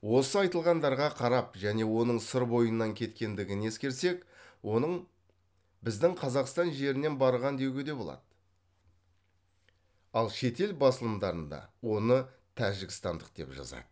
осы айтылғандарға қарап және оның сыр бойынан кеткендігін ескерсек оның біздің қазақстан жерінен барған деуге де болады ал шетел басылымдарында оны тәжікстандық деп жазады